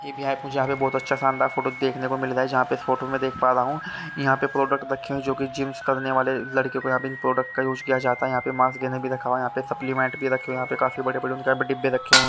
ये विहायक पूजा में बहोत अच्छा शानदार फोटो देखने को मिल रहा है जहा पर इस फोटो में देख पा रहा हु यहाँ पे प्रोडक्ट रखे हुए है जिमस करने वाले लड़कियों को यहाँ पर प्रोडक्ट को यूज़ किया जाता है यहाँ मास गैनर भी रखा हुआ है यहाँ पे सप्लीमेंट भी रखे है यहाँ पर काफी बड़े बड़े उनके डिब्बे भी रखे हुए है।